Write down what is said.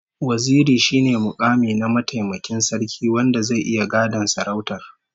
Waziri shine mukami na mataimakin sarki wanda zai iya gadon sarautar